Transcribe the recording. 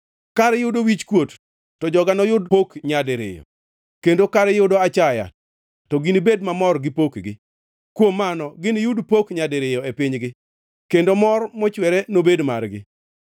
Kar yudo wichkuot to joga noyud pok nyadiriyo, kendo kar yudo achaya to ginibed mamor gi pokgi; kuom mano giniyud pok nyadiriyo e pinygi, kendo mor mochwere nobed margi.